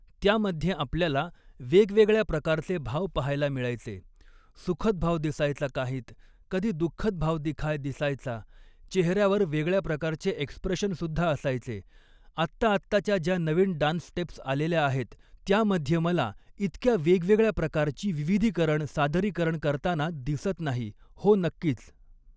त्यामध्ये आपल्याला वेगवेगळ्या प्रकारचे भाव पहायला मिळायचे, सुखद भाव दिसायचा काहींत, कधी दुख्खद भाव दिखाय दिसायचा, चेहऱ्यावर वेगळ्या प्रकारचे एक्सप्रेशनसुद्धा असायचे, आत्ता आत्ताच्या ज्या नवीन डान्स स्टेप्स आलेल्या आहेत, त्यामध्ये मला इतक्या वेगवेगळ्या प्रकारची विविधीकरण सादरीकरण करताना दिसत नाही, हो नक्कीच